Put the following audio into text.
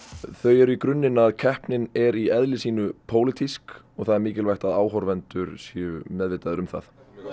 þau eru í grunninn að keppnin er í eðli sínu pólitísk og það er mikilvægt að áhorfendur séu meðvitaðir um það